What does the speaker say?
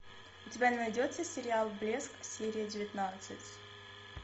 у тебя найдется сериал блеск серия девятнадцать